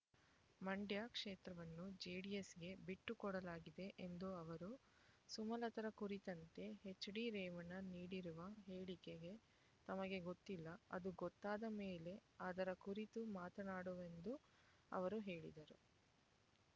ಮಂಡ್ಯ ಕ್ಷೇತ್ರವನ್ನು ಜೆಡಿಎಸ್‌ಗೆ ಬಿಟ್ಟು ಕೊಡಲಾಗಿದೆ ಎಂದ ಅವರು ಸುಮಲತಾರ ಕುರಿತಂತೆ ಎಚ್ಡಿ ರೇವಣ್ಣ ನೀಡಿರುವ ಹೇಳಿಕೆ ತಮಗೆ ಗೊತ್ತಿಲ್ಲ ಅದು ಗೊತ್ತಾದ ಮೇಲೆ ಅದರ ಕುರಿತು ಮಾತನಾಡುವೆಎಂದು ಅವರು ಹೇಳಿದರು